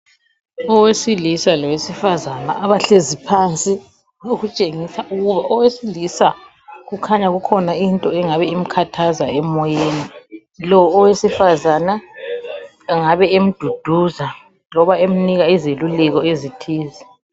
Owesilisa lowesifazana abahlezi phansi ,okutshengisa ukuba owesilisa kukhanya kukhona into engabe imkhathaza emoyeni .Lo owesifazana engabe emduduza loba emnika izeluleko ezithize .